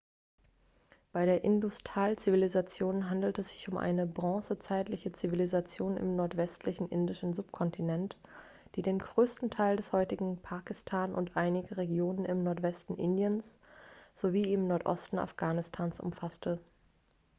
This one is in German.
bei der indus-tal-zivilisation handelt es sich um eine bronzezeitliche zivilisation im nordwestlichen indischen subkontinent die den größten teil des heutigen pakistan und einige regionen im nordwesten indiens sowie im nordosten afghanistans umfasste